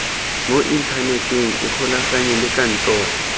mo inthaneteng ikgolaganye le kantoro